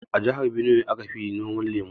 A jihar Binuwai aka fi noman lemu.